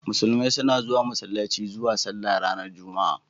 Musulmai suna zuwa Masallaci zuwa sallah ranar juma'a.